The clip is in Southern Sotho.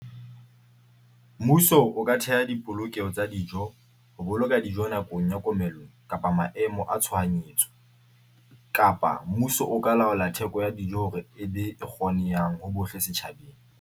Mmuso o ka theha dipolokeho tsa dijo ho boloka dijo nakong ya komello kapa maemo a tshohanyetso kapa mmuso o ka laola theko ya dijo hore e be e kgonehang ho bohle setjhabeng.